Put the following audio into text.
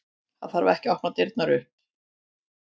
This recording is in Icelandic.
Það þarf ekki að opna dyr upp.